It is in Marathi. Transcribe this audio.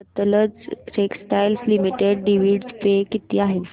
Sutlej textiles limited dividend pay किती आहे